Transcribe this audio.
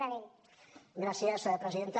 gràcies presidenta